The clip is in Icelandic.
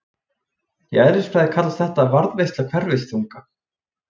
í eðlisfræði kallast þetta varðveisla hverfiþunga